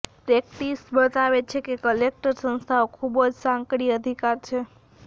practice બતાવે છે કે કલેક્ટર સંસ્થાઓ ખૂબ સાંકડી અધિકાર છે